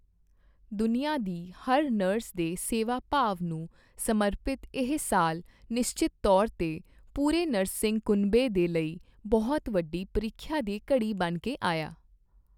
ਦੁਨੀਆਂ ਦੀ ਹਰ ਨਰਸ ਦੇ ਸੇਵਾ ਭਾਵ ਨੂੰ ਸਮਰਪਿਤ ਇਹ ਸਾਲ ਨਿਸ਼ਚਿਤ ਤੌਰ ਤੇ ਪੂਰੇ ਨਰਸਿੰਗ ਕੁਨਬੇ ਦੇ ਲਈ ਬਹੁਤ ਵੱਡੀ ਪ੍ਰੀਖਿਆ ਦੀ ਘੜੀ ਬਣ ਕੇ ਆਇਆ।